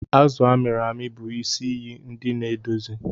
Azụ a mịrị amị bụ isi iye ndi na-edozi.